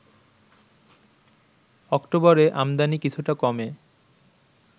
অক্টোবরেআমদানি কিছুটা কমে